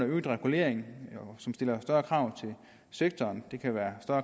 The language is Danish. øget regulering som stiller større krav til sektoren det kan være